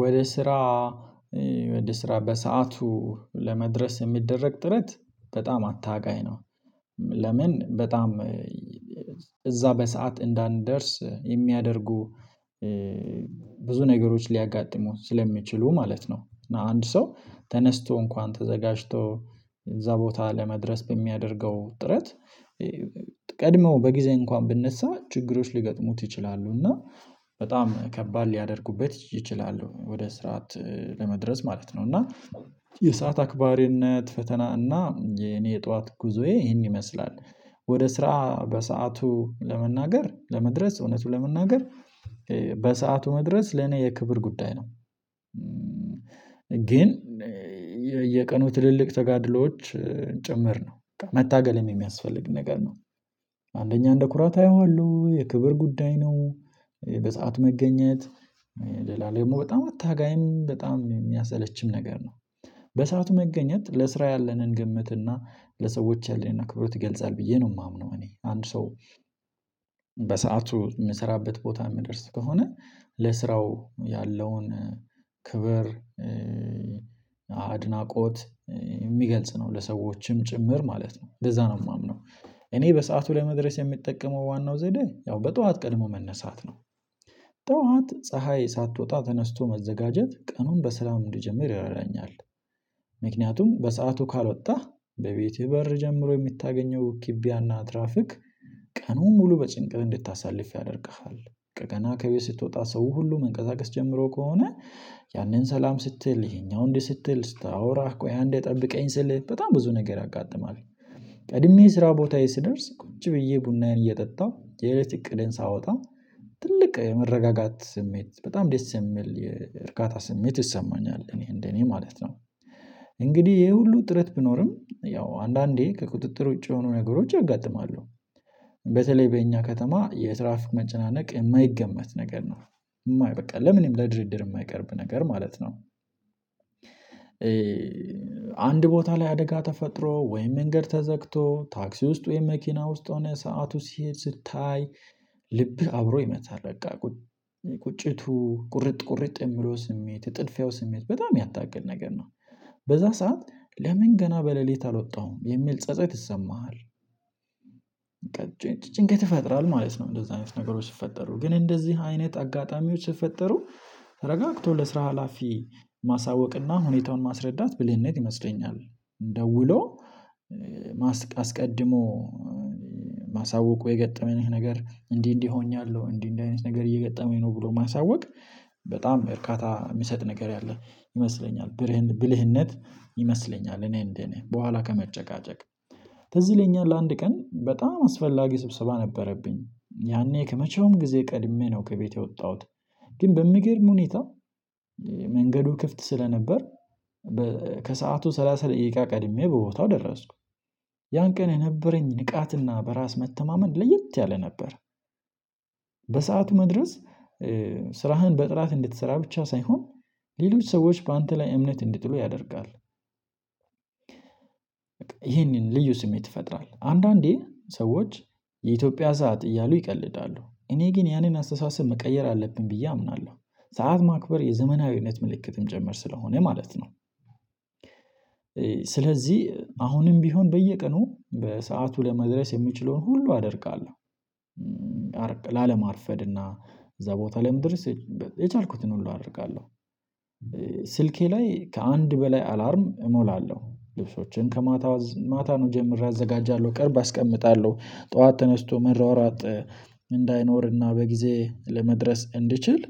ወደ ስራ ወደ ስራ በሰአቱ ለመድረስ የሚደረግ ጥረት በጣም አጣብቂኝ ነው። ለምን በጣም እዛ በሰአት እንዳንደርስ የሚያደርጉ ብዙ ነገሮች ሊያጋጥሙን ስለሚችሉ ማለት ነው። እና አንድ ሰው ተነስቶ እንኳን ተዘጋጅቶ እዛ ቦታ ለመድረስ በሚያደርገው ጥረት ቀድመው በጊዜ እንኳን ብነሳ ችግሮች ሊገጥሙት ይችላሉ እና በጣም ከባድ ሊያደርጉበት ይችላሉ በስርዓት ለመድረስ ማለት ነው። እና የሰዓት አክባሪነት ፈተና እና የኔ የጧት ጉዞዬ ይሄን ይመስላል። ወደ ስራ በሰአቱ ለመናገር ለመድረስ እውነቱ ለመናገር በሰአቱ መድረስ ለኔ የክብር ጉዳይ ነው። ግን የቀኑ ትልልቅ ተጋድሎዎች ጭምር ነው መታገልም የሚያስፈልግ ነገር ነው። አንደኛ እንደ ኩራት አየዋለሁ የክብር ጉዳይ ነው። በሰአት መገኘት ለላለም ደግሞ በጣም አታጋይም በጣም የሚያሰለችም ነገር ነው። በሰአቱ መገኘት ለስራ ያለንን ግመት እና ለሰዎች ያለንን ክብረ ትገልጻለህ ብዬ ነው የማምነው። እኔ አንድ ሰው በሰአቱ የምሰራበት ቦታ የምደርስ ከሆነ ለስራው ያለውን ክብር አድናቆት የሚገልጽ ነው። ለሰዎችም ጭምር ማለት ነው እንደዛ ነው የማምነው። እኔ በሰአቱ ላይ መድረስ የሚጠቀመው ዋናው ዘዴ ያው በጧት ቀድሞ መነሳት ነው። ጧት ፀሀይ ሳትወጣ ተነስቶ መዘጋጀት ቀኑን በሰላም እንዲጀምር ያደርገኛል። ምክንያቱም በሰአቱ ካልወጣህ በቤቴ በር ጀምሮ የምታገኘው ኪቢያና ትራፊክ ቀኑን ሙሉ በጭንቅል እንድታሳልፍ ያደርግሃል። ከገና ከቤት ስትወጣ ሰው ሁሉ መንቀሳቀስ ጀምሮ ከሆነ ያንን ሰላም ስትል ይሄኛው እንዲህ ስትል ስታወራህ ቆይ አንዴ ጠብቀኝ ስልህ በጣም ብዙ ነገር ያጋጥማል። ቀድሜ ስራ ቦታዬ ስደርስ ቁጭ ብዬ ቡናዬን እየጠጣሁ የእለት እቅዴን ሳወጣ ትልቅ መረጋጋት ስሜት በጣም ደስ የሚል የእርካታ ስሜት ይሰማኛል እኔ እንደ እኔ ማለት ነው። እንግዲህ ይሄ ሁሉ ጥረት ቢኖርም ያው አንዳንዴ ከቁጥጥር ውጪ የሆኑ ነገሮች ያጋጥማሉ። በተለይ በእኛ ከተማ የትራፍክ መጨናነቅ የማይገመት ነገር ነው። የማይ በቃ ለምንም ለድርድር የማይቀርብ ነገር ማለት ነው። አንድ ቦታ ላይ አደጋ ተፈጥሮ ወይም መንገድ ተዘግቶ ታክሲ ውስጥ ወይም መኪና ውስጥ ሆነ ሰዓቱ ሲሄድ ስታይ ልብ አብሮ ይመታል በቃ ቁጭቱ ቁርጥ ቁርጥ የሚለው ስሜት የጥድፊያው ስሜት በጣም ያታገል ነገር ነው። በዛ ሰዓት ለምን ገና በሌሊት አልወጣውም የሚል ጸጸት ይሰማሃል። ጭንቀት ይፈጥራል ማለት ነው። እንደዚህ አይነት ነገሮች ሲፈጠሩ ግን እንደዚህ አይነት አጋጣሚዎች ሲፈጠሩ ተረጋግቶ ለስራ ሀላፊ ማሳወቅና ሁኔታውን ማስረዳት ብልህነት ይመስለኛል። ደውሎ አስቀድሞ ማሳወቁ የገጠመንህ ነገር እንዲህ እንዲህ ሆኛለሁ እንዲህ እንደዚህ አይነት ነገር እየገጠመኝ ነው ብሎ ማሳወቅ በጣም እርካታ የሚሰጥ ነገር ያለ ይመስለኛል ብልህነት ይመስለኛል። እኔ እንደ እኔ በኋላ ከመጨቃጨቅ ትዝ ይለኛ ለአንድ ቀን በጣም አስፈላጊ ስብስብ አነበረብኝ ያኔ ከመቼውም ጊዜ ቀድሜ ነው ከቤቴ የወጣሁት። ግን በምገርም ሁኔታ መንገዱ ክፍት ስለነበር ከሰአቱ ሰላሳ ደቂቃ ቀድሜ በቦታው ደረስኩ። ያን ቀን የነበረኝ ንቃትና በራስ መተማመን ለየት ያለ ነበር። በሰአቱ መድረስ ስራህን በጥራት እንድትሰራ ብቻ ሳይሆን ሌሎች ሰዎች በአንተ ላይ እምነት እንድትሉ ያደርጋል። ይሄንን ልዩ ስሜት ይፈጥራል አንዳንዴ ሰዎች የኢትዮጵያ ሰዓት እያሉ ይቀልዳሉ እኔ ግን ያንን አስተሳሰብ መቀየር አለብኝ ብዬ አምናለሁ። ሰዓት ማክበር የዘመናዊነት ምልክትም ጨመር ስለሆነ ማለት ነው። ስለዚህ አሁንም ቢሆን በየቀኑ በሰአቱ ለመድረስ የሚችለውን ሁሉ አደርጋለሁ። ላለማርፈድ እና እዛ ቦታ ላይ ለመድረስ የቻልኩትን ሁሉ አደርጋለሁ። ስልኬ ላይ ከአንድ በላይ አላርም እሞላለሁ ልብሶችን ከማታ ማታዉኑ ጀምሬ አዘጋጃለሁ ቅርብ አስቀምጣለሁ ጠዋት ተነስቶ መሯሯጥ እንዳይኖርና በጊዜ ለመድረስ እንድችል።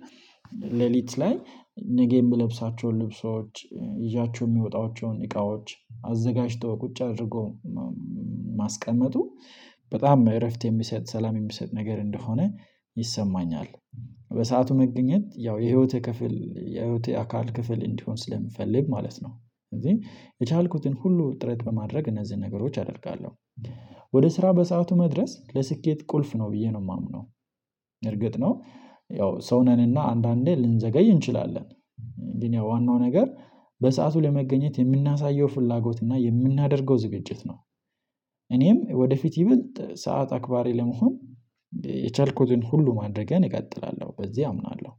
ሌሊት ላይ ነገ የምለብሳቸውን ልብሶች ይዣቸው የምወጣቸውን እቃዎች አዘጋጅተው ቁጭ አድርገው ማስቀመጡ በጣም እረፍት የሚሰጥ ሰላም የሚሰጥ ነገር እንደሆነ ይሰማኛል። በሰአቱ መገኘት ያው የህይወት ክፍል የህይወት አካል ክፍል እንዲሆን ስለምፈልግ ማለት ነው። አንዳዴ የቻልኩትን ሁሉ ጥረት በማድረግ እነዚህን ነገሮች አደርጋለሁ። ወደ ስራ በሰአቱ መድረስ ለስኬት ቁልፍ ነው ብዬ ነው የማምነው። እርግጥ ነው ያው ሰው ነንና አንዳንዴ ልንዘገይ እንችላለን። ግን ያው ዋናው ነገር በሰአቱ ለመገኘት የምናሳየው ፍላጎት እና የምናደርገው ዝግጅት ነው። እኔም ወደፊት ይበልጥ ሰዓት አክባሪ ለመሆን የቻልኩትን ሁሉ በማድረግ እቀጥላለሁ በዚህ አምናለሁ።